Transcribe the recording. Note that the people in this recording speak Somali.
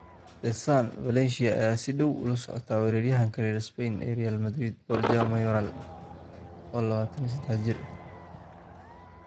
(The Sun) Valencia ayaa si dhow ula socota weeraryahanka reer Spain ee Real Madrid Borja Mayoral, oo 23 jir ah.